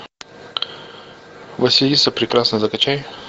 василиса прекрасная закачай